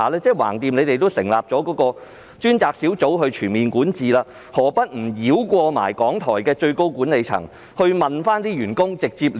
反正政府也成立了一個專責小組就其全面管治進行檢討，何不繞過港台的最高管理層，直接向員工查詢？